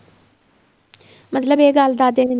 ਮਤਲਬ ਏ ਗੱਲ ਦਾਦੇ ਨੇ